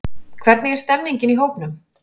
Hvernig er stemmingin í hópnum?